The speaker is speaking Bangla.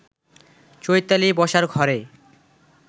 চৈতালি বসার ঘরে